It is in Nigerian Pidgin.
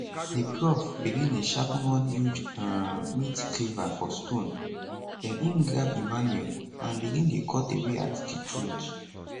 di prof begin dey sharpen one huge um meat cleaver for stone den im grab emmanuel and begin dey cut away at di throat